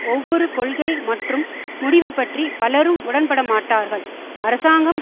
ஒவ்வொரு கொள்கை மற்றும் முடிவு பற்றி பலரும் உடன்படமாட்டார்கள் அரசாங்கம்